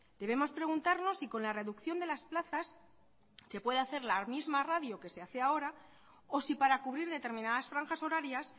debemos preguntarnos si con la reducción de las plazas se puede hacer la misma radio que se hace ahora o si para cubrir determinadas franjas horarias